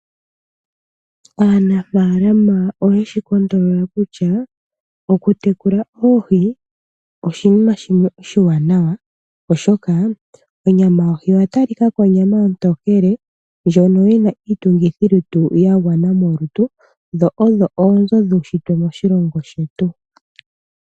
Aanafaalama oyeshi kondolola kutya, okutekula oohi oshinima shimwe oshiwanawa, oshoka onyama yohi oya talikako onyama ontokele ndjono yina iitungithilutu ya gwana molutu, dho odho oonzo dhuunshitwe moshilongo shetu.